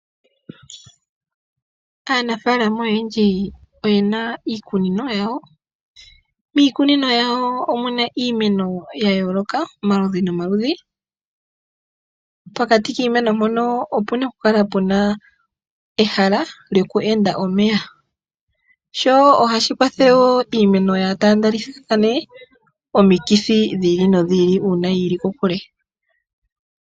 Aanafaalama oyendji oyena iikunino yawo. Miikunino yawo omuna iimeno ya yooloka, omaludhi nomaludhi, pokati kiimeno mpono opuna okukala puna ehala lyoku enda omeya sho ohashi kwathele woo iimeno yaa taandelithathane omikithi dhi ili nodhi ili uuna yiili kokule.